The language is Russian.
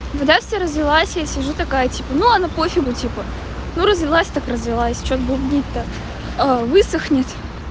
водя вся развелась я сижу такая типа ну она пофигу типа ну развелась так развелась что бубнить то высохнет